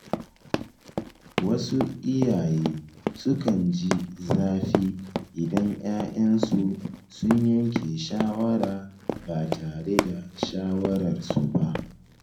Wasu iyaye sukan ji zafi idan ‘ya’yansu sun yanke shawara ba tare da shawarar su ba.